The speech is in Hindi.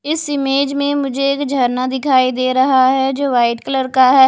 इस इमेज में मुझे एक झरना दिखाई दे रहा है जो वाइट कलर का है।